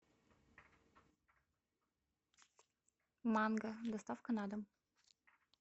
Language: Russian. манго доставка на дом